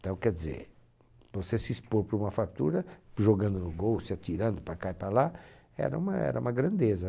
Então, quer dizer, você se expor para uma fratura, jogando no gol, se atirando para cá e para lá, era uma era uma grandeza.